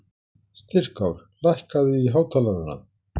Styrkár, lækkaðu í hátalaranum.